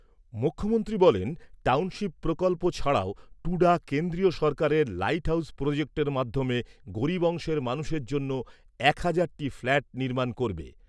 মুখ্যমন্ত্রী বলেন, টাউনশিপ প্রকল্প ছাড়াও টুডা কেন্দ্রীয় সরকারের লাইট হাউজ প্রজেক্টের মাধ্যমে গরিব অংশের মানুষের জন্য এক হাজারটি ফ্ল্যাট নির্মাণ করবে।